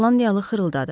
Şotlandiyalı xırıldadı.